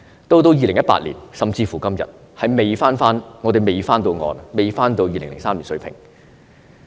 到了2018年，甚至是今天，我們仍未回到2003年水平。